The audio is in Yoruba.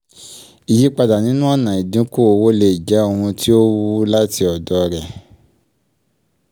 ìyípadà nínú ọ̀nà ìdínkù owó lè jẹ́ ohun tí ó wù láti ọ̀dọ̀ rẹ.